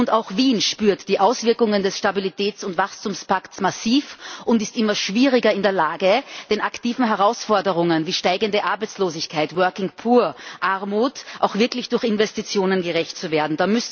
Und auch Wien spürt die Auswirkungen des Stabilitäts und Wachstumspakts massiv und ist immer schwieriger in der Lage, den aktiven Herausforderungen, wie steigende Arbeitslosigkeit, Armut auch wirklich durch Investitionen gerecht zu werden.